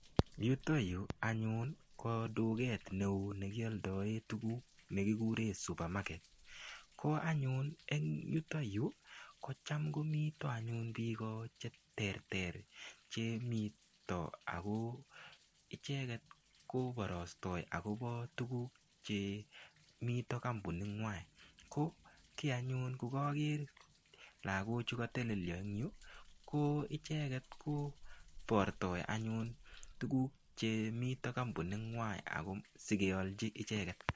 Yuto yu anyun ko duket neo nekiyaldoen tuguk nekikuren supamaket. Yuto yu kocham ngo mito anyun biik che terter, chemito ago icheget kobarostoi agobo tuguk che mito kampuningwai. Ko kiy anyun koger laagochu anyun katelelio eng yu ko icheget kobortoi anyun tuguk chemito kampuningwai ago sigealchi icheget.